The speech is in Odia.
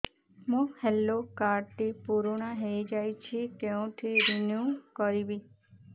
ମୋ ହେଲ୍ଥ କାର୍ଡ ଟି ପୁରୁଣା ହେଇଯାଇଛି କେଉଁଠି ରିନିଉ କରିବି